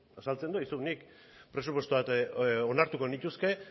azaltzen du aizu nik presupuestoak onartuko nituzke